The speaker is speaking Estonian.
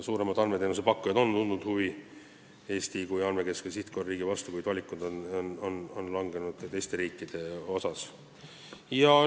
Suuremad andmeteenusepakkujad on tundnud huvi Eesti kui andmekeskuse sihtkohariigi vastu, kuid valik on langenud teistele riikidele.